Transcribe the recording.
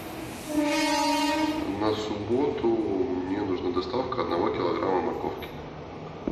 на субботу мне нужна доставка одного килограмма морковки